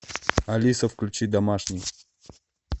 алиса включи домашний